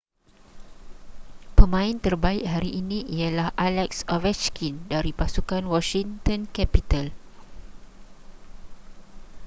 pemain terbaik hari ini ialah alex ovechkin dari pasukan washington capital